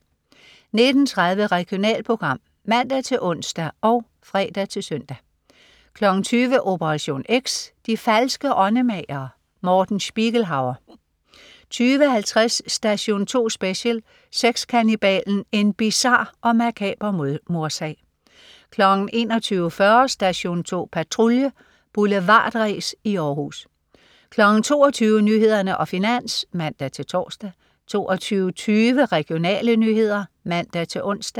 19.30 Regionalprogram (man-ons og fre-søn) 20.00 Operation X. De falske åndemagere. Morten Spiegelhauer 20.50 Station 2 Special : Sexkannibalen. En bizar og makaber mordsag 21.40 Station 2 Patrulje. Boulevardræs i Århus 22.00 Nyhederne og Finans (man-tors) 22.20 Regionale nyheder (man-ons)